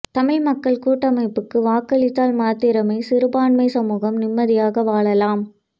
தமிழ் மக்கள் கூட்டமைப்புக்கு வாக்களித்தால் மாத்திரமே சிறுபான்மை சமூகம் நிம்மதியாக வாழலாம்